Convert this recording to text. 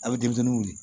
A bɛ denmisɛnnin wili